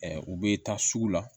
u bɛ taa sugu la